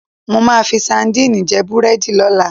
Mo máa fi sadíìnì jẹ́ búrẹ́dì lọ́la.